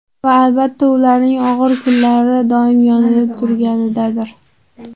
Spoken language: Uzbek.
Va, albatta, ularning og‘ir kunlarida doimo yonida turganidadir.